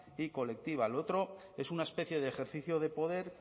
y colectiva lo otro es una especie de ejercicio de poder